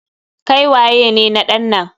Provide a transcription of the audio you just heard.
Kai waye ne na ɗan nan?